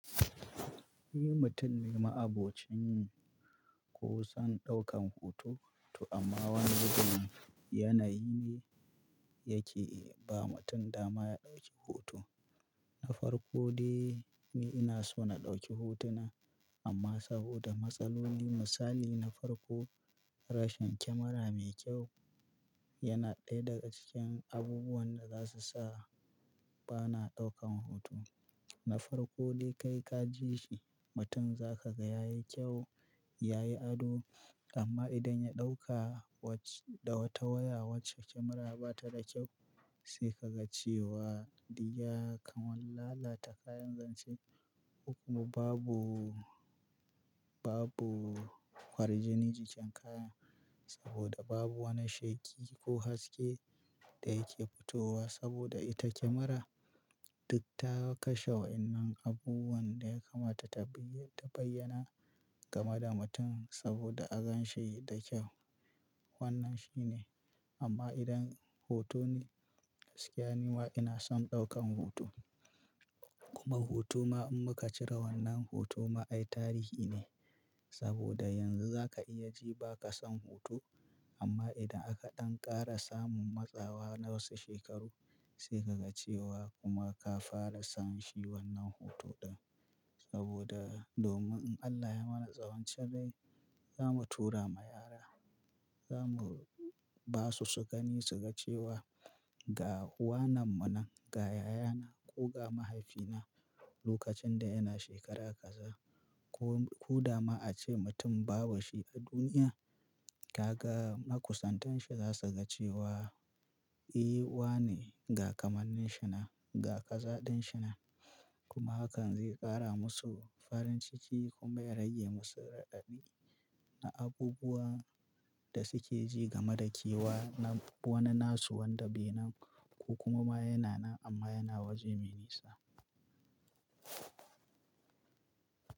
Ni mutum ne ma'abocin kusan ɗaukan hoto. To amma wani wajen yanayi ne yake ba mutum dama ya ɗauki hoto. Na farko dai ni ina so na ɗauki hotuna amma saboda matsaloli misali na farko rashin kyamara mai kyau yana ɗaya daga cikin abubuwan da za su sa ba na ɗaukan hoto. Na farko dai kai ka ji shi mutum za ka ga yayi kyau, yayi ado amma idan ya ɗauka wace da wata waya wacce kyamara ba ta da kyau sai ka ga cewa diyya kamar lalata kayan zance. Kuma babu, babu farjini jikin kaya saboda babu wani sheki ko haske da yake fitowa saboda ita kyamara duk ta kashe wa'innan abubuwan da ya kamata ta bayyana kamar da mutum saboda a gan shi da kyau. Wannan shi ne amma idan hoto ne gaskiya nima ina son ɗaukan hoto. Kuma hoto ma in muka cire wannan hoto ma ai tarihi ne saboda yanzu za ka iya ji ba ka son hoto amma idan aka ɗan ƙara samun matsawa na wasu shekaru sai ka ga cewa kuma ka fara son shi wannan hoto ɗin. Saboda domin in Allah ya mana tsawon cinrai zamu tura ma yara, zamu ba su su gani su ga cewa ga uwananmu nan, ga yayana ko ga mahaifina lokacin da yana shekara kaza. Ko, ko da ma a ce mutum babu shi a duniya, ta ga makusantan shi za su ga cewa eh uwa ne ga kamannin shi na, ga kazaɗin shi na. Kuma hakan zai ƙara musu farin ciki kuma ya rage musu raɗabi na abubuwan da suke ji game da kewa na wani nasu wanda bai nan ko kuma yana nan amma yana waje mai nisa.